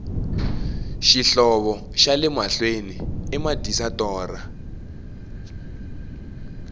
xihlovo xale mahlwei i madyisa torha